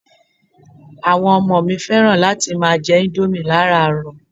Àwọn Ọmọ mi fẹ́ràn láti máa jẹ indomie laràárọ̀